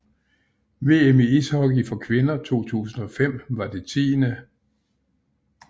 VM i ishockey for kvinder 2005 var det 10